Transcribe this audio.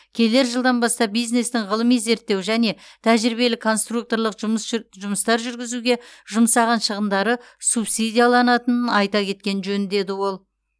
келер жылдан бастап бизнестің ғылыми зерттеу және тәжірибелік конструкторлық жұмыс жұмыстар жүргізуге жұмсаған шығындары субсидияланатынын айта кеткен жөн деді ол